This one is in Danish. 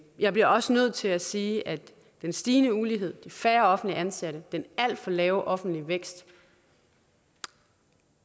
jeg bliver også nødt til at sige at den stigende ulighed de færre offentligt ansatte den alt for lave offentlige vækst